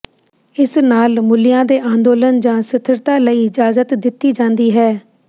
ਇਸ ਨਾਲ ਮੂਲਿਆਂ ਦੇ ਅੰਦੋਲਨ ਜਾਂ ਸਥਿਰਤਾ ਲਈ ਇਜਾਜ਼ਤ ਦਿੱਤੀ ਜਾਂਦੀ ਹੈ